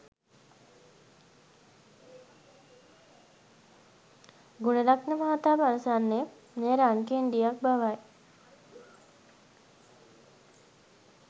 ගුණරත්න මහතා පවසන්නේ මේ රන් කෙණ්ඩියක් බවයි.